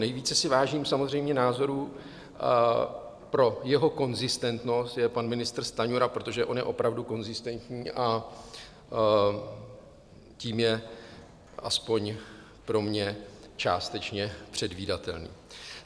Nejvíce si vážím samozřejmě názorů pro jeho konzistentnost, je pan ministr Stanjura, protože on je opravdu konzistentní a tím je, aspoň pro mě, částečně předvídatelný.